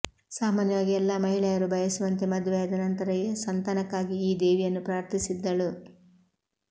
ಸಾಮಾನ್ಯವಾಗಿ ಎಲ್ಲ ಮಹಿಳೆಯರು ಬಯಸುವಂತೆ ಮದುವೆಯಾದ ನಂತರ ಸಂತಾನಕ್ಕಾಗಿ ಈ ದೇವಿಯನ್ನು ಪ್ರಾರ್ಥಿಸಿದ್ದಳು